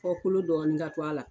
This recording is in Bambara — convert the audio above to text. Kɔ kɔlo dɔɔnin ka to a la